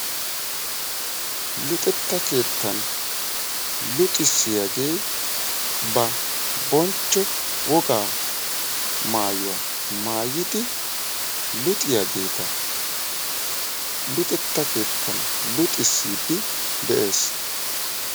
Luxetta keettan luxissiyaagee ba bonchcho wogaa maayuwa maayidi luxiyaageeta luxetta keettan luxsisiiddi de'ees.